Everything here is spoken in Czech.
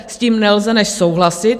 S tím nelze než souhlasit.